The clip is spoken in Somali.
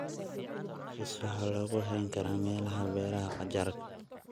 Bees waxaa lagu hayn karaa meelaha beeraha qajaarka.